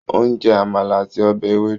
Ó ń jẹ Àmàlà àti ọbẹ̀ ewédú